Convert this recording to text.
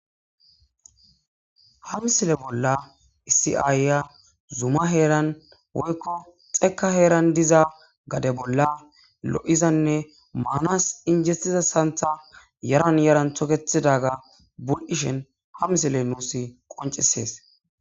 ha misile bolla issiaayya zuma heeran woykko xekka heeran diza gade bolla lo7izanne maanas injestiza santha yaran yaran tokethidaga bul7ishen ha misile nuus qoncisees